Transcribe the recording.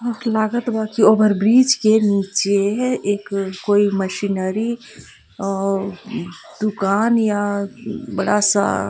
लागत बा कि ओवर-ब्रिज के नीचे है एक कोई मशीनरी आ दुकान या बड़ा-सा --